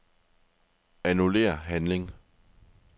Annullér handling.